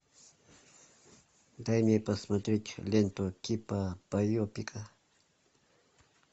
дай мне посмотреть ленту типа байопика